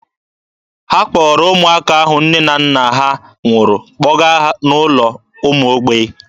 Ha kpọrọ ụmụaka ahụ nne na nna ha nwụrụ kpọga n'ụlọ ụmụ mgbei.